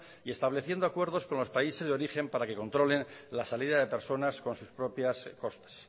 y estableciendo acuerdos con los países de origen para que controlen la salida de personas con sus propias costas